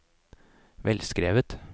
velskrevet